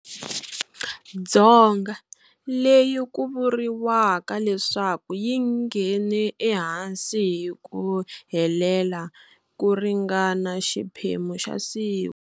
Dzonga, leyi ku vuriwaka leswaku yi nghene ehansi hi ku helela ku ringana xiphemu xa siku.